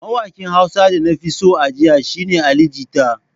Mawaƙin Hausa da na fi so a jiya shi ne Ali jita.